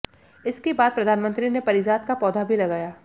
इसके बाद प्रधानमंत्री ने पारिजात का पौधा भी लगाया